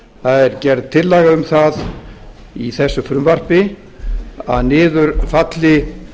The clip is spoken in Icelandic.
það er gerð tillaga um það í þessu frumvarpi að niður falli